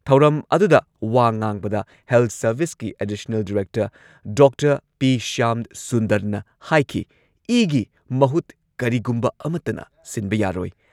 ꯊꯧꯔꯝ ꯑꯗꯨꯨꯗ ꯋꯥ ꯉꯥꯡꯕꯗ ꯍꯦꯜꯊ ꯁꯔꯚꯤꯁꯀꯤ ꯑꯦꯗꯤꯁꯅꯦꯜ ꯗꯤꯔꯦꯛꯇꯔ ꯗꯣꯛꯇꯔ ꯄꯤ. ꯁ꯭ꯌꯥꯝꯁꯨꯟꯗꯔꯅ ꯍꯥꯏꯈꯤ ꯏꯒꯤ ꯃꯍꯨꯠ ꯀꯔꯤꯒꯨꯝꯕ ꯑꯃꯠꯇꯅ ꯁꯤꯟꯕ ꯌꯥꯔꯣꯏ ꯫